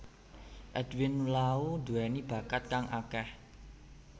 Edwin Lau duweni bakat kang akeh